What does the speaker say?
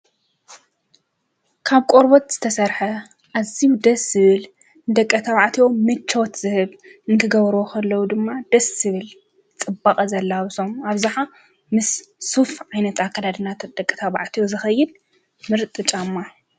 ካብ ቆርበት ዝተሠርሐ ዓዚው ደስ ስብል ደቀ ታብዕቴዎ ምችወት ዝህብ እንክገብሩ ወኸለዉ ድማ ደስ ሥብል ጽባቐ ዘላውሶም ኣብዛኃ ምስ ሱፍ ዓይነጣ ኣከልድናት ደቀ ታብዕትዩ ዘኸይድ ምርጥ ጫማ።